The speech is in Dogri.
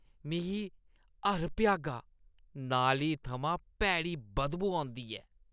मिगी हर भ्यागा नाली थमां भैड़ी बदबू औंदी ऐ।